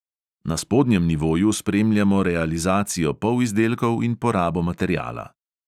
Na spodnjem nivoju spremljamo realizacijo polizdelkov in porabo materiala.